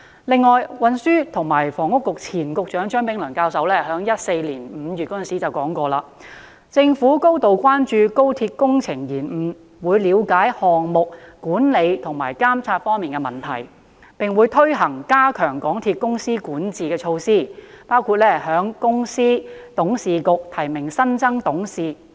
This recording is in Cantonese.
此外，前運輸及房屋局局長張炳良教授在2014年5月曾表示，政府高度關注高鐵工程延誤，會了解項目管理和監察方面的問題，並會推行加強港鐵公司管治的措施，包括向公司董事局提名新增董事。